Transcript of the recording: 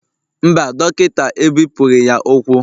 Mba, Dọkịta ebipụghị ya ụkwụ